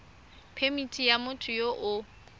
phemithi ya motho yo o